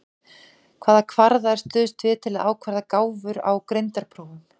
Hvaða kvarða er stuðst við til að ákvarða gáfur á greindarprófum?